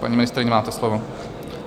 Paní ministryně, máte slovo.